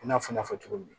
I n'a fɔ n y'a fɔ cogo min